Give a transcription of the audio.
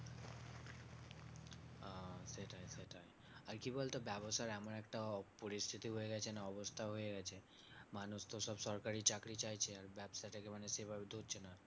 আর কি বলতো ব্যাবসার এমন একটা পরিস্থিতি হয়ে গেছে না অবস্থা হয়ে গেছে মানুষ তো সব সরকারি চাকরি চাইছে আর ব্যাবসাটাকে মানে সেভাবে তুলছে না।